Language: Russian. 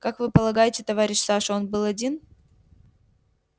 как вы полагаете товарищ саша он был один